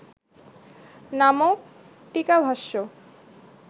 নামক টীকাভাষ্য